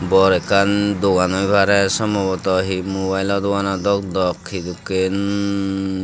bor ekkan dogan oi parey sombavata he mubayelo dogano dok dok hidokken.